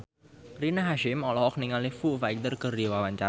Rina Hasyim olohok ningali Foo Fighter keur diwawancara